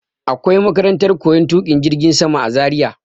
Akwai makarantar koyar tuƙin jirgin sama a Zaria.